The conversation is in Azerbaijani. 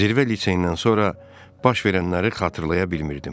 Zirvə liseyindən sonra baş verənləri xatırlaya bilmirdim.